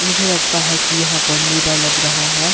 मुझे लगता है कि यहां पर मेला लग रहा है।